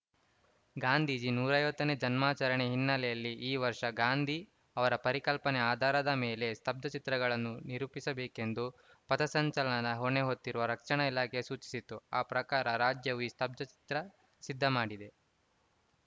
ಗಾಂಧೀಜಿ ನೂರ ಐವತ್ತನೇ ಜನ್ಮಾಚರಣೆ ಹಿನ್ನೆಲೆಯಲ್ಲಿ ಈ ವರ್ಷ ಗಾಂಧಿ ಅವರ ಪರಿಕಲ್ಪನೆ ಆಧಾರದ ಮೇಲೆ ಸ್ತಬ್ಧಚಿತ್ರಗಳನ್ನು ನಿರೂಪಿಸಬೇಕೆಂದು ಪಥಸಂಚಲನ ಹೊಣೆ ಹೊತ್ತಿರುವ ರಕ್ಷಣಾ ಇಲಾಖೆ ಸೂಚಿಸಿತ್ತು ಆ ಪ್ರಕಾರ ರಾಜ್ಯವು ಈ ಸ್ತಬ್ಧಚಿತ್ರ ಸಿದ್ಧಮಾಡಿದೆ